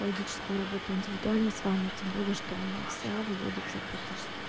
логическую работаю индивидуально с вами тем более что она вся выводится в практически